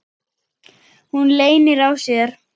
Hún leynir á sér.